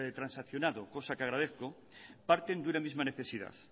transaccionado cosa que agradezco parten de una misma necesidad